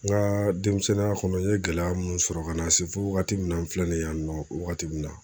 N ka denmisɛnninya kɔnɔ n ye gɛlɛya mun sɔrɔ ka na se fo wagati min na n filɛ ni ye yan nɔ wagati min na